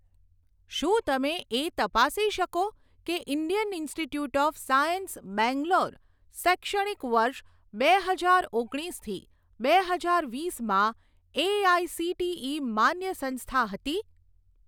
શું તમે એ તપાસી શકો કે Indian Institute of Science Bangalore શૈક્ષણિક વર્ષ બે હજાર ઓગણીસથી બે હજાર વીસમાં એઆઇસીટીઇ માન્ય સંસ્થા હતી?